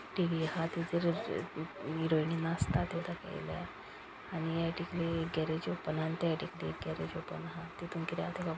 टी.व्ही. आहा तेजेरूच हेरोईनी नाचता त्यो दाखेयला आणि या सायडीकली गॅरेज ओपन हा आणि त्या सायडीकली गेरेज ओपन हा तीतून किदे हा ते खबरना --